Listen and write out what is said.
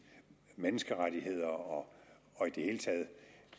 menneskerettigheder og